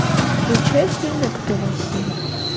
включай фильмик пила семь